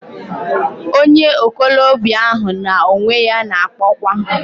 Onye okolobia ahu na onwe ya na-akpokwa....